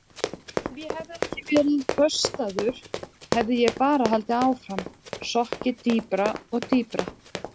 Ef ég hefði ekki verið böstaður hefði ég bara haldið áfram, sokkið dýpra og dýpra.